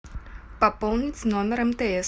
пополнить номер мтс